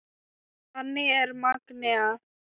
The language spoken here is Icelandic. Þannig var Magnea.